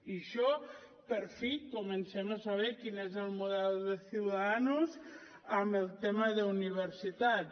i això per fi comencem a saber quin és el model de ciudadanos en el tema d’universitats